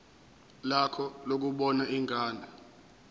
lakho lokubona ingane